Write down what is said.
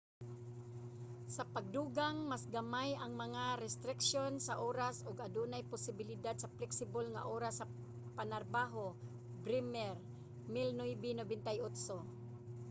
sa pagdugang mas gamay ang mga restriksyon sa oras ug adunay posibilidad sa flexible nga oras sa panarbaho. bremer 1998